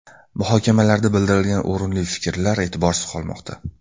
Muhokamalarda bildirilgan o‘rinli fikrlar e’tiborsiz qolmoqda.